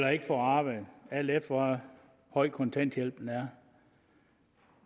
eller ikke får arbejde alt efter hvor høj kontanthjælpen er